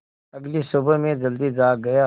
अगली सुबह मैं जल्दी जाग गया